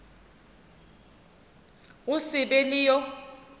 go se be le yo